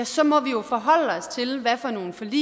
så må vi jo forholde os til hvad for nogle forlig vi